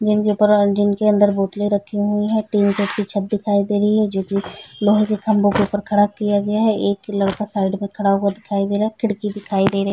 जिनके अंदर बोतले रखी हुई है टीन जैसी छत्त दिखाई दे रही है जो की लोहे खम्बो के ऊपर खड़ा किया गया है एक लड़का साइड में खड़ा हुआ दिखाई दे रहा है खिड़की दिखाई दे रही --